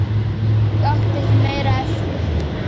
Ég átti ekki meira eftir.